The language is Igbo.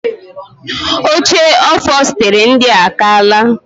Oche ofostiri ndia a kaala.